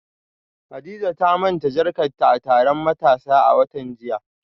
Hadiza ta manta jakarta a taron matasa a watan jiya